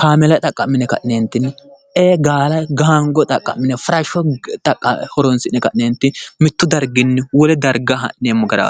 kaameela xaqqa'mine gaala xaqqa'mine gaango farashsho xaqqa'mine mittu darginni wole darga ha'neemmo garaati